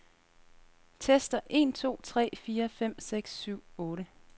Tester en to tre fire fem seks syv otte.